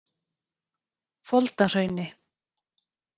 Foldahrauni